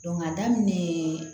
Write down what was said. k'a daminɛ